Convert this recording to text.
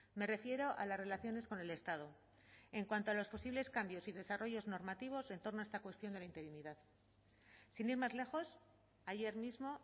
me refiero a las relaciones con el estado en cuanto a los posibles cambios y desarrollos normativos en torno a esta cuestión de la interinidad sin ir más lejos ayer mismo